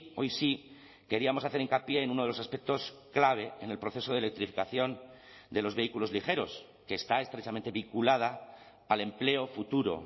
hoy sí queríamos hacer hincapié en uno de los aspectos clave en el proceso de electrificación de los vehículos ligeros que está estrechamente vinculada al empleo futuro